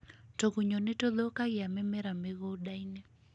Tũgunyũ nĩ tũthũkagia mĩmera mĩgũnda-inĩ